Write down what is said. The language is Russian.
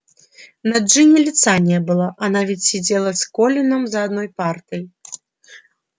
на джинни лица не было она ведь сидела с колином за одной партой